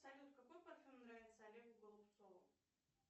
салют какой парфюм нравится олегу голубцову